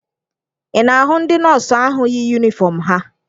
Ị na-ahụ ndị nọọsụ ahụ yi yunifọm ha?